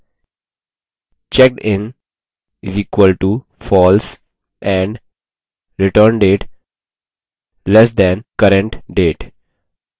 where checkedin = false and returndate <current _ date